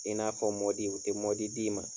I n'a fɔ mɔdi u tɛ mɔdi d'i ma.